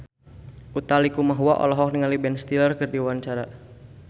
Utha Likumahua olohok ningali Ben Stiller keur diwawancara